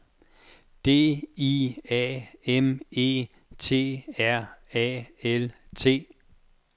D I A M E T R A L T